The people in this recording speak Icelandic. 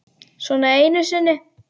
Svona einu sinni.